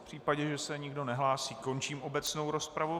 V případě, že se nikdo nehlásí, končím obecnou rozpravu.